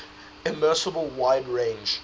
immeasurable wide range